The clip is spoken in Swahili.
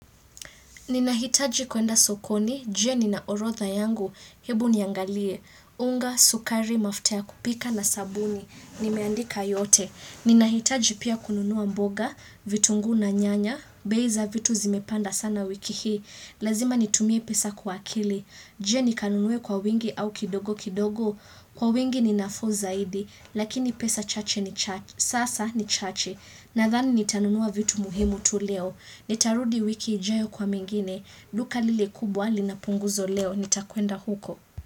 Ninahitaji kuenda sokoni, je nina orodha yangu, hebu niangalie, unga, sukari, mafuta ya kupika na sabuni, nimeandika yote. Ninahitaji pia kununua mboga, vitunguu na nyanya, bei za vitu zimepanda sana wiki hii, lazima nitumie pesa kwa akili. Je nikanunue kwa wingi au kidogo kidogo, kwa wingi ni nafuu zaidi, lakini pesa chache ni chache, sasa ni chache, nadhani nitanunua vitu muhimu tu leo. Nitarudi wiki ijayo kwa mengine, duka lile kubwa lina punguzo leo, nitakwenda huko.